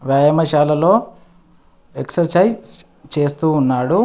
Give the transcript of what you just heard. వ్యాయామశాలలో exercise చేస్తూ ఉన్నాడు.